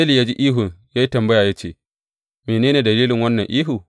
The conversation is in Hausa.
Eli ya ji ihun ya yi tambaya ya ce, mene ne dalilin wannan ihu?